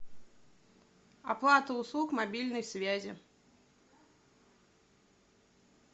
оплата услуг мобильной связи